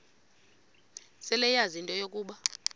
seleyazi into yokuba